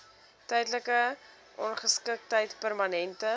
tydelike ongeskiktheid permanente